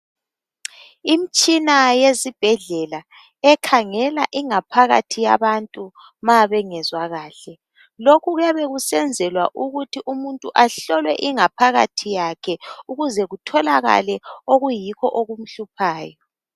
Imitshina yesibhedlela ekhangela ingaphakathi yabantu ma bengazwa kahle lokhu kuyabe kusenzelwa ukuthi umuntu ahlolwe ingaphakathi yakhe ukuze kutholakale okuyikho okumhluphayo.